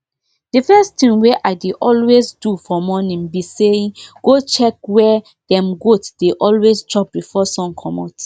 the first thing wey i dey always do for morning be sayi go check where dem goats dey always chop before sun comot